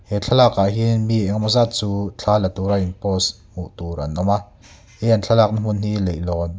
he thlalak ah hian mi engemaw zat chu thla la tura in post hmuh tur an awm a he an thlalak na hmun hi leihlawn--